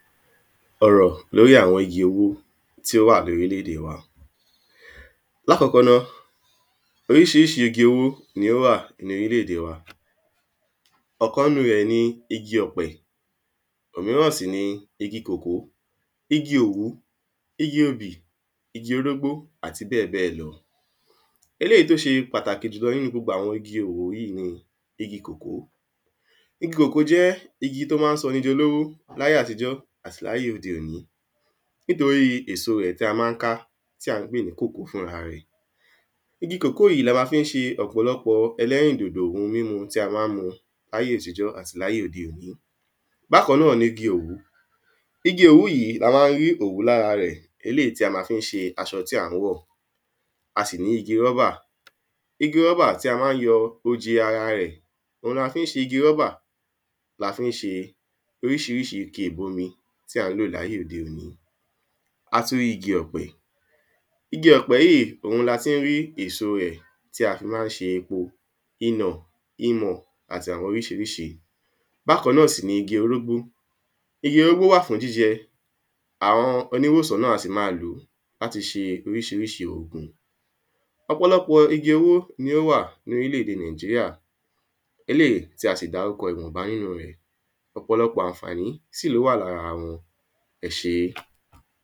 ọ̀rọ̀ lóri àwọn igi owó tí ó wà ní orílẹ̀-èdè wa, lákọ̀ọ́kọ́ ná, oríṣiríṣi igi owó ni ó wà ní orílẹ̀-ède wa ọ̀kan nínu rẹ̀ ni igi ọ̀pẹ, òmíràn sì ni igi koko, igi òwú, igi obì, igi orógbó àti bẹ́ẹ̀ bẹ́ẹ̀ lọ eléyìí tó ṣe pàtàkì nínu gbogbo àwọn igi owó yìí ni igi kòkó. Igi kòkó jẹ́ igi tó ma ń sọ ni di olówó láyé àtijọ́ àti láyé òde òní nítorí èso rẹ̀ tí a ma ń ka tí a pè ní kòkó fúnra rẹ̀. Igi kòkó yìí ni a má fi ń ṣe ọ̀pọ̀lọpọ̀ ẹlẹ́rìndòdò ohun mímu tí a ma ń mu láyé àtijọ́ àti láyé òde òní Bákan náà ni igi òwú, igi òwú yìí la ma ń rí òwú lára rẹ̀, eléyìí tí a ma fi ń ṣe aṣọ tí a wọ̀, a sì ní igi rọ́bà igi rọ́bà tí a ma ń yọ oje ara rẹ̀ òun ni a fi ń ṣe igi rọ́bà la fi ń ṣe oríṣiríṣi ike ìbomi tí a ń lò ní ayé òde òní a tún ní igi ọ̀pẹ̀, igi ọ̀pẹ yìí, òun ni a ti rí èso rẹ̀ tí a fi ma ń ṣe epo, iyàn, imò àti àwọn oríṣiríṣi Bákan náà sì ni igi orógbó, igi orógbó wà fún jíjẹ àwọn oníwòsàn náà a sì máa lòó láti ṣe àwọn oríṣiríṣi ògùn ọ̀pọ̀lọpọ̀ igi owó ni ó wà ní orílẹ̀-ède Nàìjíríà, eléyìí tí a sì dárúkọ ìwọnba nínu rẹ̀ ọ̀pọ̀lọpọ̀ àǹfàní sì ni ó wà lára wọn. ẹ ṣé